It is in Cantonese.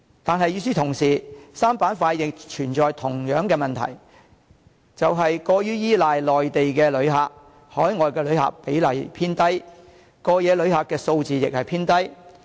但是，與此同時 ，3 個板塊亦存在同樣的問題，就是過於依賴內地旅客，海外旅客比例偏低，過夜旅客數字亦偏低。